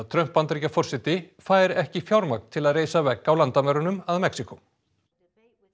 Trump Bandaríkjaforseti fær ekki fjármagn til að reisa vegg á landamærunum að Mexíkó þessi